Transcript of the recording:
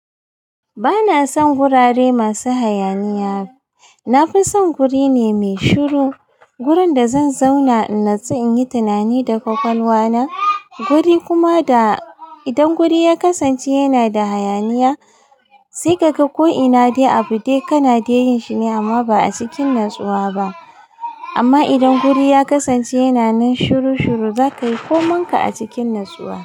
Bana son gurare masu hayaniya. Na fi son guri ne mai shiru. Gurin da zan zauna in na tsu in yi tunani da ƙwaƙwalwa na. Guri kuma da idan guri ya kasance yana da hayaniya, sai ka ga ko ina dai abu dai kana dai yin shi ne amma ba a cikin natsuwa ba. Amma idan guri ya kasance yana nan shiru-shiru, zaka yi koman ka a cikin natsuwa.